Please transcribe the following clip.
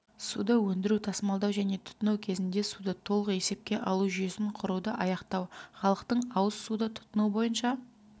суды өндіру тасымалдау және тұтыну кезінде суды толық есепке алу жүйесін құруды аяқтау халықтың ауыз суды тұтыну бойынша